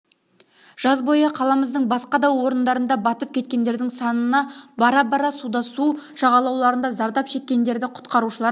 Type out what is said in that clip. жаз бойы қаламыздың басқа да орындарында батып кеткендердің санына бара-бар суда су жағалауларында зардап шеккендерді құтқарушылар